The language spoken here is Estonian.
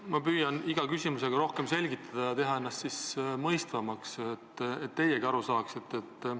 Ma püüan iga küsimusega rohkem selgitada ja teha ennast mõistetavamaks, et teiegi aru saaksite.